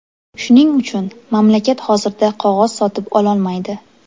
Shuning uchun, mamlakat hozirda qog‘oz sotib ololmaydi.